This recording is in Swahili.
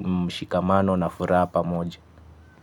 mshikamano na furaha pamoja.